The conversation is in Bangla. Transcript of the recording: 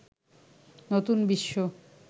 নতুন বিশ্ব